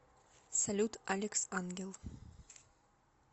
салют алекс ангел